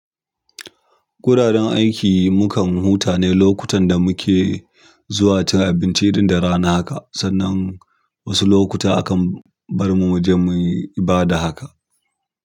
Guraren aiki mukan huta ne lokutan da muke zuwa cin abinci, irin da rana haka. Sannan wasu lokuta akan bar mu muje muyi ibada haka.